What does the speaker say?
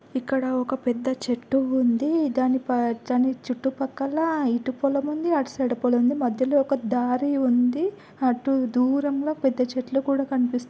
ఇక్కడ ఒక పెద్ద చెట్టు ఉంది. దాని పచ్చని చుట్టూ పక్కల ఎటు పొలం ఉంది. అటు సైడ్ పొలం ఉంది. మద్యలో ఒక దారి ఉంది. అటు దూరంలో పెద్ద చెట్లు కూడా కనిపిస్తూ--